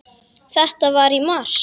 Þetta var í mars.